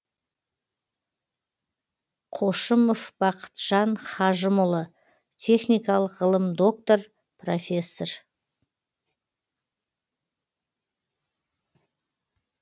қошымов бақытжан хажымұлы техникалық ғылым доктор профессор